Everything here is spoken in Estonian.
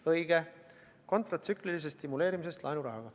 Õige: kontratsüklilisest stimuleerimisest laenurahaga.